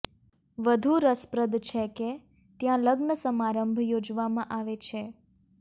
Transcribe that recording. વધુ રસપ્રદ છે કે ત્યાં લગ્ન સમારંભ યોજવામાં આવે છે